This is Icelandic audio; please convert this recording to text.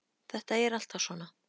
Þetta er alltaf svona.